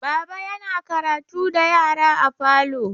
Baba yana karatu da yara a falo.